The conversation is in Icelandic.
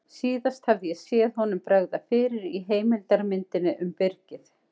Síðast hafði ég séð honum bregða fyrir í heimildarmyndinni um Byrgið.